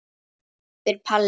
spyr Palli.